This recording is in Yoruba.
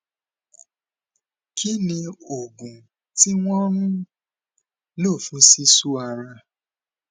kí ni oògùn tí wọn ń lò fún sisu ara